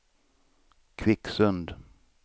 Kvicksund